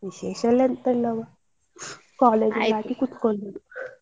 ವಿಶೇಷ ಎಲ್ಲ ಎಂತ ಇಲ್ಲವಾ ಕುತ್ಕೊಳೋದು.